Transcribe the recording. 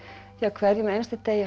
því á hverjum einasta degi er